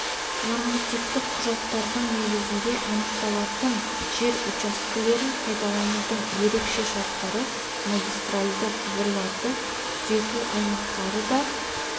нормативтік құжаттардың негізінде анықталатын жер учаскелерін пайдаланудың ерекше шарттары магистральды құбырларды күзету аймақтары да